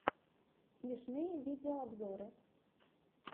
смешные видеообзоры